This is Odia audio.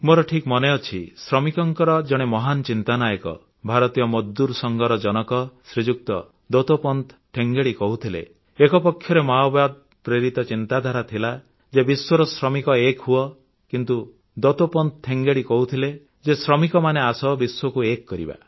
ମୋର ଠିକ୍ ମନେଅଛି ଶ୍ରମିକଙ୍କ ଜଣେ ମହାନ ଚିନ୍ତାନାୟକ ଭାରତୀୟ ମଜଦୁର ସଂଘର ଜନକ ଶ୍ରୀଯୁକ୍ତ ଦତୋପନ୍ତ ଠେଙ୍ଗେଡ଼ି କହୁଥିଲେ ଏକପକ୍ଷରେ ମାଓବାଦ ପ୍ରେରିତ ଚିନ୍ତାଧାରା ଥିଲା ଯେ ବିଶ୍ୱର ଶ୍ରମିକ ଏକ ହୁଅ କିନ୍ତୁ ଦତୋପନ୍ତ ଠେଙ୍ଗେଡ଼ି କହୁଥିଲେ ଯେ ଶ୍ରମିକମାନେ ଆସ ବିଶ୍ୱକୁ ଏକ କରିବା